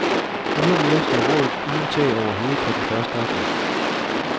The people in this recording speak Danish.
Ydermere står rådet uden tag over hovedet fra den første august.